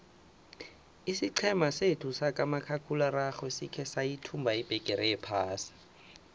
isiqhema sethu sikamakhakhulararhwe sikhe sayithumba ibhigiri yephasi